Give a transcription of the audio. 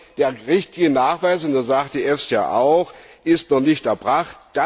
Also der richtige Nachweis das sagt die EFSA auch ist noch nicht erbracht.